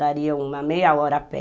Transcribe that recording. Daria uma meia hora a pé.